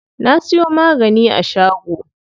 Na siyo magani a shago.